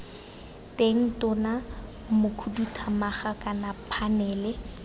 teng tona mokhuduthamaga kana phanele